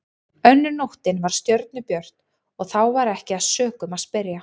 Önnur nóttin var stjörnubjört og þá var ekki að sökum að spyrja.